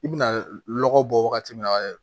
I bɛna lɔgɔ bɔ wagati min na